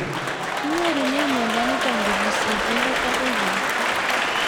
Kinyorune miondo nitok kopun sig'indet akoi lakwet